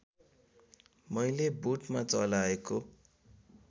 मैले बोटमा चलाएको